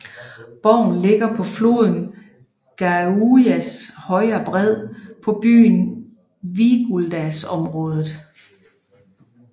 Borgen ligger på floden Gaujas højre bred på byen Siguldas område